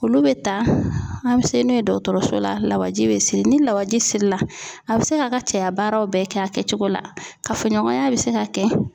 Olu bɛ ta an bɛ se n'o ye dɔgɔtɔrɔso la lawaji bɛ siri ni lawisi la a bɛ se k'a ka cɛya baaraw bɛɛ kɛ a kɛcogo la kafoɲɔgɔnya bɛ se ka kɛ.